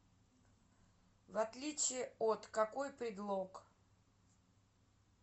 в отличие от какой предлог